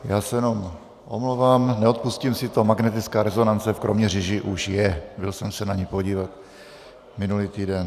Já se jenom omlouvám, neodpustím si to, magnetická rezonance v Kroměříži už je, byl jsem se na ni podívat minulý týden.